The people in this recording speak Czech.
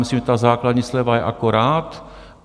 Myslím si, že základní sleva je akorát.